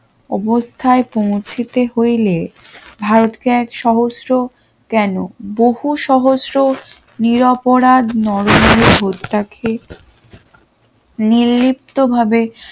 অবস্থায় পৌঁছেতে হইলে ভারতকে এক সহস্র কেন বহু সহস্র নিরপরাধ নরমের হত্যাকে নির্লিপ্তভাবে